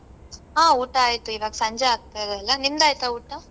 ಹಾ ಊಟ ಆಯ್ತು ಈವಾಗ್ ಸಂಜೆ ಆಗ್ತಾ ಇದೆ ಅಲ್ಲ ನಿಮ್ದ್ ಆಯ್ತಾ ಊಟ?